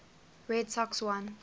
red sox won